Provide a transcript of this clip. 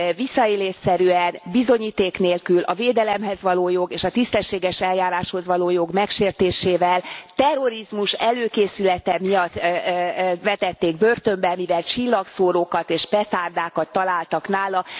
Visszaélésszerűen, bizonyíték nélkül, a védelemhez való jog és a tisztességes eljáráshoz való jog megsértésével terrorizmus előkészülete miatt vetették börtönbe, mivel csillagszórókat és petárdákat találtak nála.